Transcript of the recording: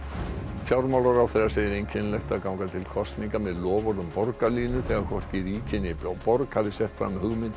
fjármálaráðherra segir einkennilegt að ganga til kosninga með loforð um borgarlínu þegar hvorki ríki né borg hafi sett fram hugmyndir